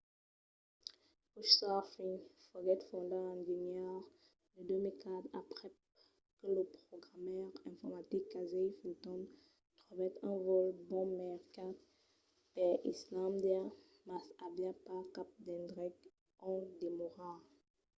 couchsurfing foguèt fondat en genièr de 2004 aprèp que lo programaire informatic casey fenton trobèt un vòl bon mercat per islàndia mas aviá pas cap d'endrech ont demorar